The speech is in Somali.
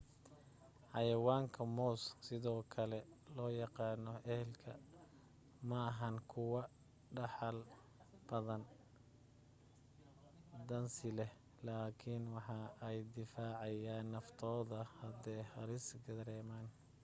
xayawaanka moos sidoo kale loo yaqaan elk maahan kuwo dhaxal daan dansi leh laakin waxa ay difaacayan naftooda hadde halis dareeman